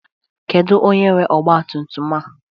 Kedu onye nwe ọgba tum tum a?